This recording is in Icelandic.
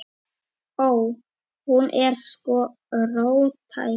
Ó. Hún er sko róttæk.